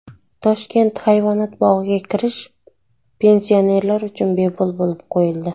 Toshkent hayvonot bog‘iga kirish pensionerlar uchun bepul qilib qo‘yildi.